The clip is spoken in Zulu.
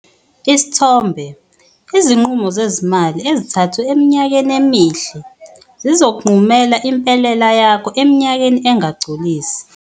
Isithombe- Izinqumo zezimali ezithathwe eminyakeni emihle zizokunqumela impelela yakho eminyakeni engagculisi.